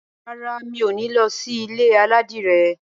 Rárá, mi ò ní lọ sí ilé aládìrẹ.